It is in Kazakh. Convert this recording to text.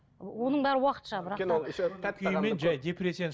оның бәрі уақытша бірақ та